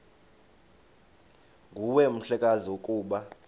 nguwe mhlekazi ukuba